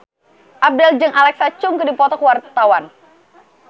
Abdel jeung Alexa Chung keur dipoto ku wartawan